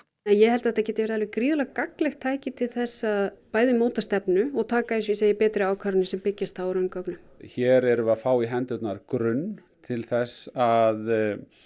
ég held að þetta geti verið alveg gríðarlega gagnlegt tæki til þess að bæði móta stefnu og taka eins og ég segi betri ákvarðanir sem byggjast á raungögnum hér erum við að fá í hendurnar grunn til þess að